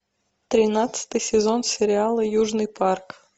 тринадцатый сезон сериала южный парк